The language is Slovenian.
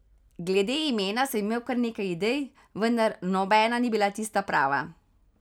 Glede imena sem imel kar nekaj idej, vendar nobena ni bila tista prava.